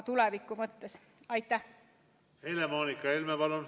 Helle-Moonika Helme, palun!